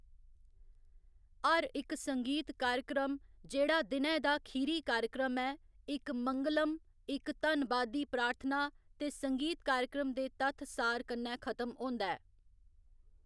हर इक संगीत कार्यक्रम जेह्‌‌ड़ा दिनै दा खीरी कार्यक्रम ऐ, इक मंगलम, इक धन्नबादी प्रार्थना ते संगीत कार्यक्रम दे तत्थ सार कन्नै खत्म होंदा ऐ।